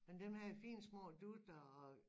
Men dem havde fine små dutter og